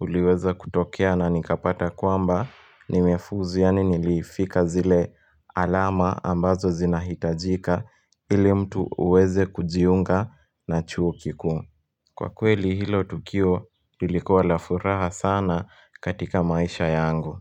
uliweza kutokea na nikapata kwamba nimefuzu, yaani nilifika zile alama ambazo zinahitajika ili mtu uweze kujiunga na chuo kikuu. Kwa kweli hilo tukio lilikuwa la furaha sana katika maisha yangu.